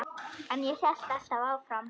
En alltaf hélt hann áfram.